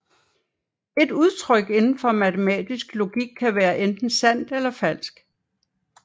Et udtryk indenfor matematisk logik kan være enten sandt eller falsk